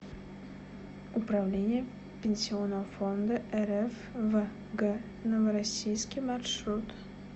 управление пенсионного фонда рф в г новороссийске маршрут